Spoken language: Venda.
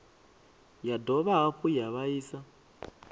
ya dovha hafhu ya vhaisa